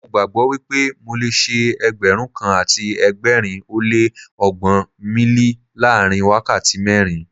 Mo gbàgbó wípé mo le ṣe Ẹgbẹ̀rún kan àti ẹgbẹ̀rin ó lé ọgbọ́n míílì láàrin wákàtí mẹ́rin.